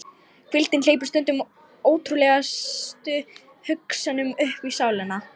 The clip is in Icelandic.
Hvíldin hleypir stundum ótrúlegustu hugsunum uppí sálina.